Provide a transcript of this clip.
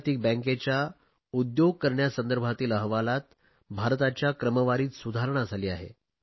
जागतिक बँकेच्या उद्योग करण्यासंदर्भातील अहवालात भारताच्या क्रमवारीत सुधारणा झाली आहे